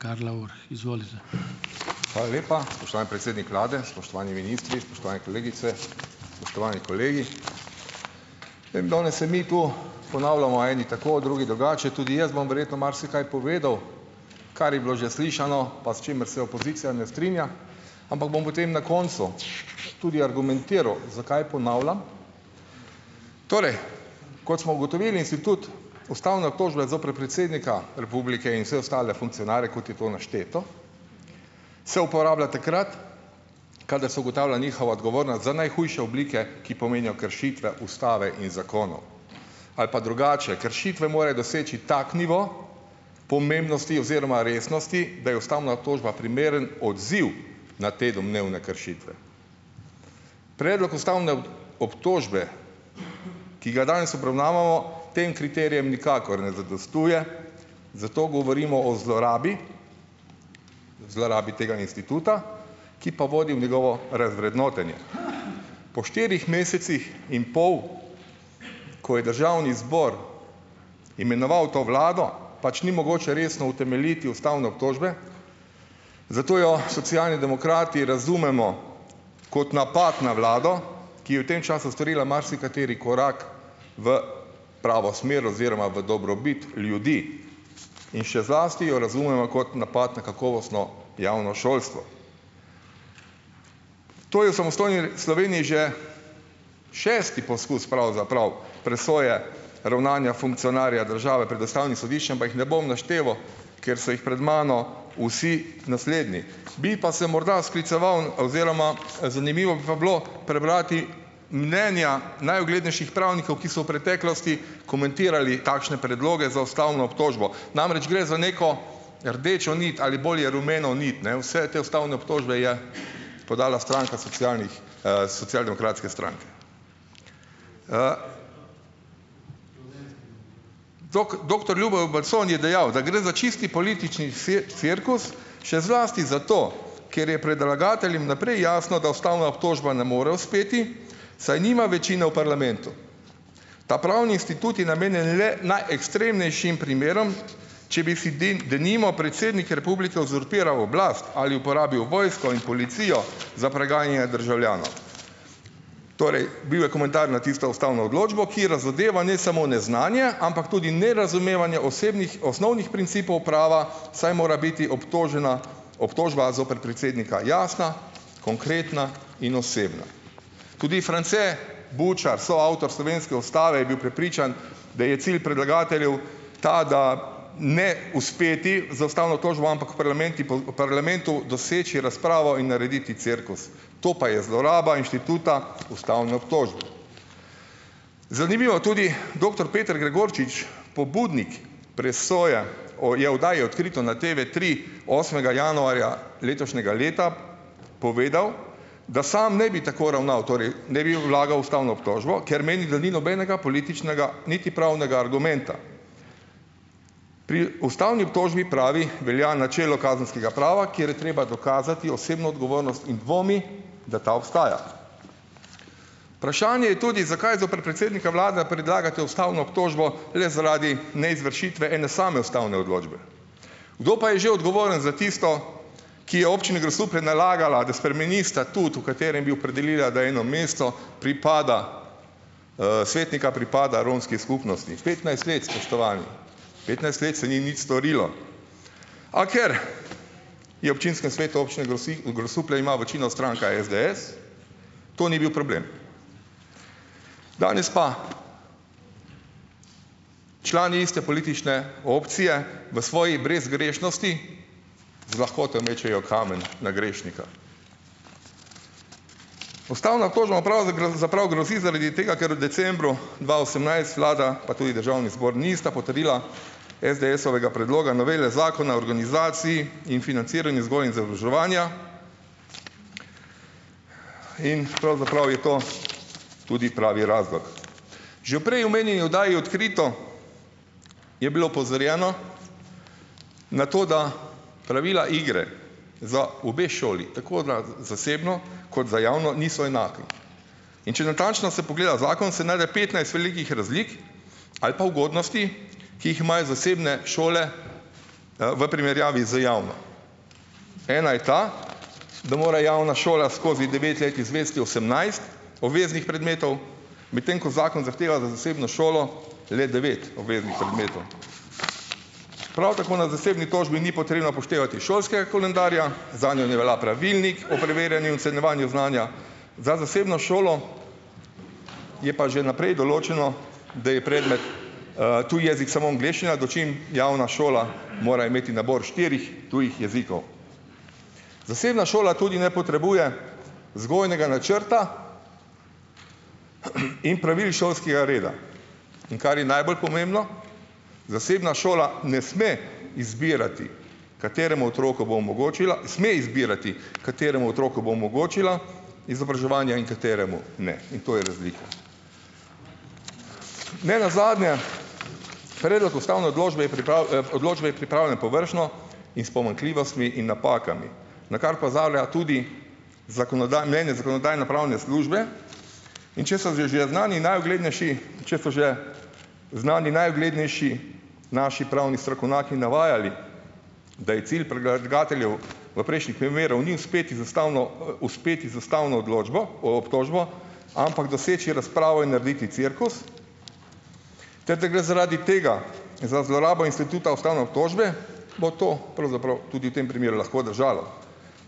Hvala lepa spoštovani predsednik vlade, spoštovani ministri, spoštovane kolegice, spoštovani kolegi! Vem danes se mi to ponavljamo, eni tako, drugi drugače. Tudi jaz bom verjetno marsikaj povedal, kar je bilo že slišano, pa s čimer se opozicija ne strinja, ampak bom potem na koncu tudi argumentiral zakaj ponavljam. Torej, kot smo ugotovili, institut ustavne obtožbe zoper predsednika republike in vse ostale funkcionarje, kot je to našteto, se uporablja takrat, kadar se ugotavlja njihova odgovornost za najhujše oblike, ki pomenijo kršitve ustave in zakonov. Ali pa drugače, kršitve morajo doseči tak nivo pomembnosti oziroma resnosti, da je ustavna obtožba primeren odziv na te domnevne kršitve. Predlog ustavne obtožbe, ki ga danes obravnavamo, tem kriterijem nikakor ne zadostuje, zato govorimo o zlorabi, zlorabi tega instituta, ki pa vodi v njegovo razvrednotenje. Po štirih mesecih in pol, ko je državni zbor imenoval to vlado, pač ni mogoče resno utemeljiti ustavne obtožbe, zato jo Socialni demokrati razumemo kot napad na vlado, ki je v tem času storila marsikateri korak v pravo smer oziroma v dobrobit ljudi in še zlasti jo razumemo kot napad na kakovostno javno šolstvo. To je v samostojni Sloveniji že šesti poskus, pravzaprav, presoje ravnanja funkcionarja države pred ustavnim sodiščem, pa jih ne bom našteval, ker so jih pred mano vsi naslednji. Bi pa se morda skliceval oziroma zanimivo bi pa bilo prebrati mnenja najuglednejših pravnikov, ki so v preteklosti komentirali takšne predloge za ustavno obtožbo. Namreč, gre za neko rdečo nit, ali bolje, rumeno nit, ne, vse te ustavne obtožbe je podala stranka socialnih, Socialdemokratske stranke. doktor Ljubo Bacon je dejal, da gre za čisti politični cirkus, še zlasti zato, ker je predlagateljem naprej jasno, da ustavna obtožba ne more uspeti saj nima večine v parlamentu. Ta pravni institut je namenjen le najekstremnejšim primerom, če bi si denimo predsednik republike uzurpiral oblast, ali uporabil vojsko in policijo za preganjanje državljanov. Torej, bil je komentar na tisto ustavno odločbo, ki razodeva ne samo neznanje, ampak tudi nerazumevanje osebnih osnovnih principov prava, saj mora biti obtožena obtožba zoper predsednika jasna, konkretna in osebna. Tudi France Bučar, soavtor slovenske ustave, je bil prepričan, da je cilj predlagateljev tak, da ne uspeti z ustavno tožbo, ampak v parlamenti v parlamentu doseči razpravo in narediti cirkus. To pa je zloraba inštituta ustavne obtožbe. Zanimivo, tudi doktor Peter Gregorčič, pobudnik presoje, je oddaji Odkrito na Tevetri osmega januarja letošnjega leta povedal, da sam ne bi tako ravnal, torej ne bi vlagal ustavno obtožbo, ker meni, da ni nobenega političnega niti pravnega argumenta. Pri ustavni obtožbi pravi, velja načelo kazenskega prava, kjer je treba dokazati osebno odgovornost, in dvomi, da ta obstaja. Vprašanje je tudi zakaj zoper predsednika vlade predlagate ustavno obtožbo le zaradi neizvršitve ene same ustavne odločbe? Kdo pa je že odgovoren za tisto, ki je občini Grosuplje nalagala, da spremeni statut, v katerem bi opredelila, da eno mesto pripada, svetnika pripada romski skupnosti? Petnajst let, spoštovani. Petnajst let se ni nič storilo. A ker je občinskem svetu občine Grosuplje ima večino stranka SDS to ni bil problem. Danes pa člani iste politične opcije v svoji brezgrešnosti z lahkoto mečejo kamen na grešnika. Ustavna obtožba pravzaprav grozi zaradi tega, ker v decembru dva osemnajst vlada pa tudi državni zbor nista potrdila SDS-ovega predloga novele Zakona organizaciji in financiranju vzgoje in izobraževanja, in pravzaprav je to tudi pravi razlog. Že v prej omenjeni oddaji Odkrito je bilo opozorjeno na to, da pravila igre za obe šoli, tako na zasebno, kot za javno, niso enaki. In če natančno se pogleda zakon, se najde petnajst velikih razlik, ali pa ugodnosti, ki jih imajo zasebne šole, v primerjavi z javno. Ena je ta, da mora javna šola skozi devet let izvesti osemnajst obveznih predmetov, medtem ko zakon zahteva za zasebno šolo le devet obveznih predmetov. Prav tako na zasebni tožbi ni potrebno upoštevati šolskega koledarja, zanjo ne velja pravilnik o preverjanju ocenjevanju znanja, za zasebno šolo je pa že naprej določeno, da je predmet, tuji jezik samo angleščina, dočim javna šola mora imeti nabor štirih tujih jezikov. Zasebna šola tudi ne potrebuje vzgojnega načrta in pravil šolskega reda, in kar je najbolj pomembno: zasebna šola ne sme izbirati kateremu otroku bo omogočila sme izbirati, kateremu otroku bo omogočila izobraževanja in kateremu ne. In to je razlika. Nenazadnje, predlog ustavne odlobče je odločbe je pripravljen površno in s pomanjkljivostmi in napakami, na kar opozarja tudi mnenje zakonodajno-pravne službe, in če so že že znani najuglednejši, če so že znani najuglednejši naši pravni strokovnaki navajali, da je cilj predlagateljev v prejšnjih primerih ni uspeti z ustavno, uspeti z ustavno odločbo, obtožbo, ampak doseči razpravo in narediti cirkus ter da gre zaradi tega za zlorabo instituta ustavne obtožbe, bo to pravzaprav tudi v tem primeru lahko držalo.